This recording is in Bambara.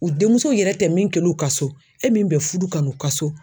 U denmuso yɛrɛ tɛ min kɛ l'u ka so e min bɛ fudu ka n'u ka so